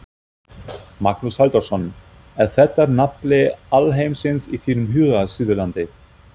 Magnús Halldórsson: Er þetta nafli alheimsins í þínum huga, Suðurlandið?